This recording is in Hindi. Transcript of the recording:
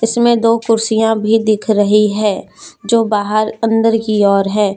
इसमें दो कुर्सियां भी दिख रही है जो बाहर अंदर की ओर है।